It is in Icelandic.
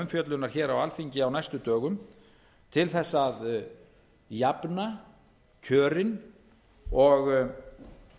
umfjöllunar hér á alþingi á næstu dögum til þess að jafna kjörin og